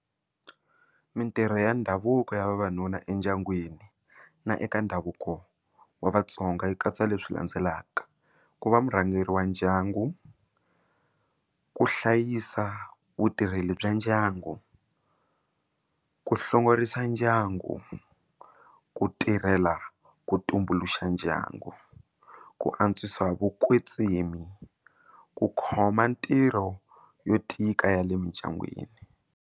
Mitirho ya ndhavuko ya vavanuna endyangwini na eka ndhavuko wa vatsonga yi katsa leswi landzelaka ku va murhangeri wa ndyangu ku hlayisa vutirheli bya ndyangu ku hlongorisa ndyangu ku tirhela ku tumbuluxa ndyangu ku antswisa vukwetsimi ku khoma ntirho yo tika ya le mindyangwini.